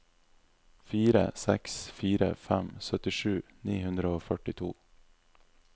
fire seks fire fem syttisju ni hundre og førtito